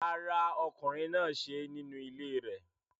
Rárá, ọkùnrin náà ṣe é nínú ilé rẹ̀